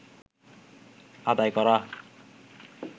আদায় করা